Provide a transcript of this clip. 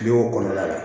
Bi wo kɔnɔ la